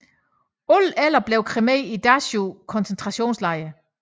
Alle 11 blev kremeret i Dachau koncentrationslejr